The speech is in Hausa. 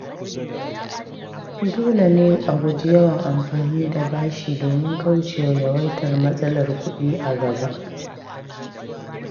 Dole ne a guji yawan amfani da bashi domin kauce wa yawaitar matsalar kuɗi a gaba.